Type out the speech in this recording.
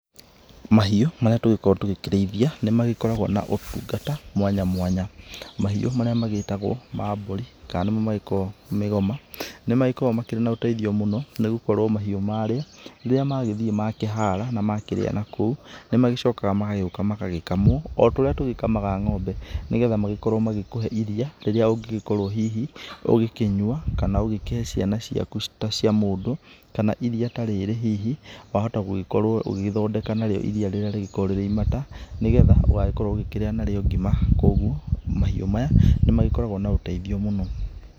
Mahiũ marĩa tũgĩkoragwo tũgĩkĩrĩithia nĩ magĩkoragwo na ũtungata mwanya mwanya. Mahiũ marĩa magĩtagwo ma mbũri kana nĩmo ma gĩkoragwo mĩgoma, nĩ magĩkoragwo mena ũteithio mũnene mũno nĩ gũkorwo mahiũ marĩa rĩrĩa magĩthiĩ makĩhara na makĩrĩa na kũu, nĩ magĩcokaga magagĩũka magagĩkamwo o taũrĩa tũgĩ kamaga ngʹombe nĩgetha magĩkorwo magĩkũhe iria rĩrĩa ũngĩgĩkorwo hihi ũgĩkĩnyua kana ũgĩkĩhe ciana ciaku ciita cia mũndũ. Kana iria ta rĩrĩ hihi wa hota gũgĩkorwo ũgĩgĩthondeka na rĩo iria rĩrĩa rĩgĩkoragwo rĩrĩ imata nĩgetha ũgagĩkorwo ũkĩrĩa na rĩo ngima kwoguo mahiũ maya nĩ magĩkoragwo na ũteithio mũno.